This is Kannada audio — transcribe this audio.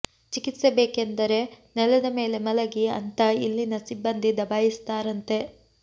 ಚಿಕಿತ್ಸೆ ಬೇಕಂದರೆ ನೆಲದ ಮೇಲೆ ಮಲಗಿ ಅಂತ ಇಲ್ಲಿನ ಸಿಬ್ಬಂದಿ ದಬಾಯಿಸ್ತಾರಂತೆ